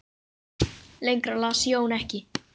Lengra las Jón ekki.